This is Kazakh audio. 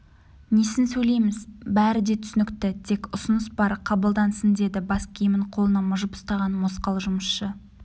несін сөйлейміз бәрі де түсінікті тек ұсыныс бар қабылдансын деді бас киімін қолына мыжып ұстаған мосқал жұмысшы